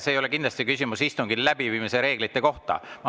See ei ole kindlasti küsimus istungi läbiviimise reeglite kohta.